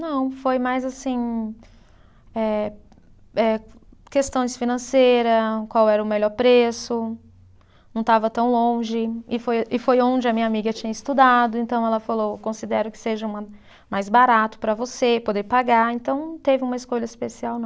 Não, foi mais assim, eh eh questões financeira, qual era o melhor preço, não estava tão longe, e foi e foi onde a minha amiga tinha estudado, então ela falou, considero que seja mais barato para você poder pagar, então não teve uma escolha especial, não.